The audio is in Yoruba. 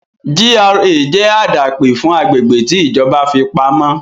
GRA jẹ́ àdápè fún agbègbè tí ìjọba fi pamọ́